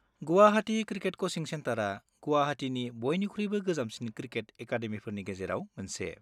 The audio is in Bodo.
गुवाहाटि क्रिकेट क'चिं सेन्टारा गुवाहाटिनि बयनिख्रुइबो गोजामसिन क्रिकेट एकादेमिफोरनि गेजेराव मोनसे।